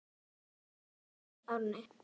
Þér stekkur ekki bros Árni.